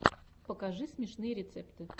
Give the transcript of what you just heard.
покажи смешные рецепты